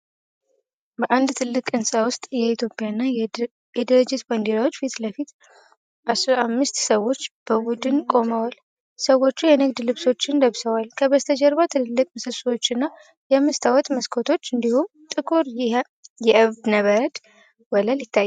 በአንድ ትልቅ ሕንጻ ውስጥ የኢትዮጵያና የድርጅት ባንዲራዎች ፊት ለፊት አስራ አምስት ሰዎች በቡድን ቆመዋል። ሰዎቹ የንግድ ልብሶችን ለብሰዋል፤ ከበስተጀርባ ትልልቅ ምሰሶዎችና የመስታወት መስኮቶች እንዲሁም ጥቁር የእብነበረድ ወለል ይታያሉ።